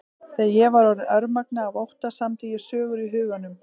Þegar ég var orðin örmagna af ótta samdi ég sögur í huganum.